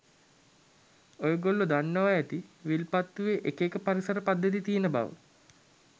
ඔයගොල්ලෝ දන්නවා ඇති විල්පතුවේ එක එක පරිසර පද්ධති තියෙන බව.